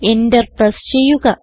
enter press ചെയ്യുക